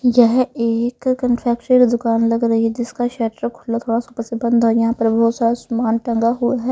यह एक कनफेक्चर की दुकान लग रही है जिसका शर्टर खुला थोड़ा सा ऊपर से बंद है यहां पर बहुत सारा सामान टंगा हुआ है.